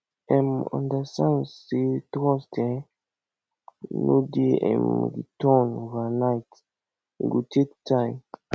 um understand say trust um no dey um return overnight e go take time